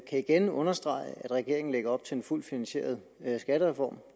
igen understrege at regeringen lægger op til en fuldt finansieret skattereform